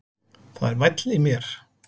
Það er væll í mér.